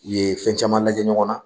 Ye fɛn caman lajɛ ɲɔgɔn na